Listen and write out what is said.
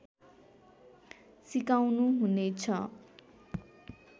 सिकाउनु हुनेछ